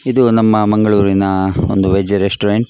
ಇದು ನಮ್ಮ ಮಂಗಳೂರಿನ ಒಂದು ವೇಜ್ ರೆಸ್ಟೋರೆಂಟ್ .